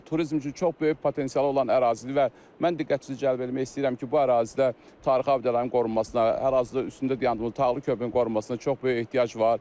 Turizm üçün çox böyük potensialı olan ərazilərdir və mən diqqətinizi cəlb etmək istəyirəm ki, bu ərazidə tarixi abidələrin qorunmasına, hər ərazidə üstündə dayandığımız Tağlı körpünün qorunmasına çox böyük ehtiyac var.